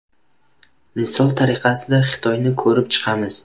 Misol tariqasida, Xitoyni ko‘rib chiqamiz.